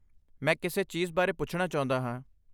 ਮੈਂ ਕਿਸੇ ਚੀਜ਼ ਬਾਰੇ ਪੁੱਛਣਾ ਚਾਹੁੰਦਾ ਹਾਂ।